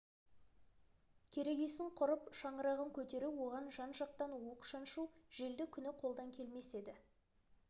керегесін құрып шаңырағын көтеру оған жан-жақтан уық шаншу желді күні қолдан келмес еді